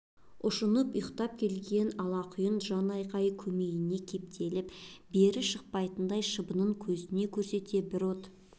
ұшынып ұйтқып келген алақұйын жан айқайы көмейіне кептеліп бері шықпайтындай шыбынын көзіне көрсете бір от